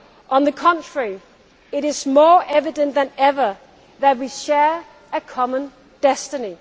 us astray. On the contrary, it is more evident than ever that we share a common